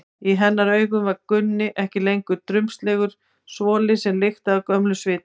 Í hennar augum var Gunni ekki lengur drumbslegur svoli sem lyktaði af gömlum svita.